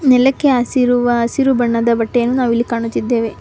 ನೆಲಕ್ಕೆ ಹಾಸಿರುವ ಹಸಿರು ಬಣ್ಣದ ಬಟ್ಟೆಯನ್ನು ನಾವು ಇಲ್ಲಿ ಕಾಣುತ್ತಿದ್ದೇವೆ.